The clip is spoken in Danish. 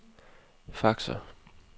faxer